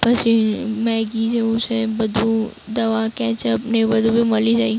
પછી મેગી જેવું છે બધું દવા કેચપ ને એવું બધું બી મલી જાય.